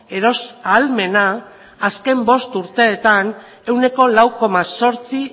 eros ahalmena azken bost urteetan ehuneko lau koma zortzi